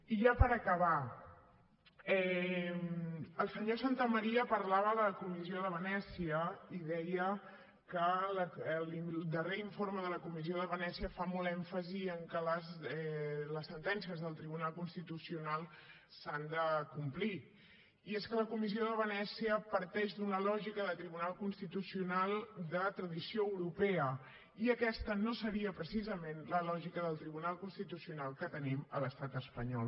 i ja per acabar el senyor santamaría parlava de la comissió de venècia i deia que el darrer informe de la comissió de venècia fa molt èmfasi en que les sentències del tribunal constitucional s’han de complir i és que la comissió de venècia parteix d’una lògica de tribunal constitucional de tradició europea i aquesta no seria precisament la lògica del tribunal constitucional que tenim a l’estat espanyol